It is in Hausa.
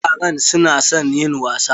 Yaran su na son yin wasa.